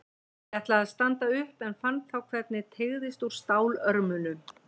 Ég ætlaði að standa upp en fann þá hvernig teygðist úr stólörmunum.